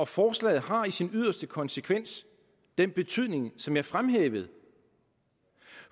forslaget har i sin yderste konsekvens den betydning som jeg fremhævede